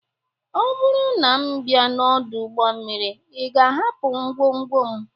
Ọ bụrụ na m bịa n'ọdụ ụgbọ mmiri, ị ga-ahapụ ngwongwo m?